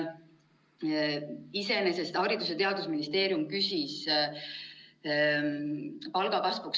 Iseenesest küsis Haridus- ja Teadusministeerium 100-eurost palgakasvu.